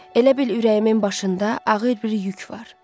Elə bil ürəyimin başında ağır bir yük var.